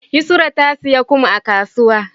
yusra tasiya kum a kasuwa